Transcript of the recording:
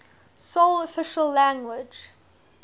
sole official language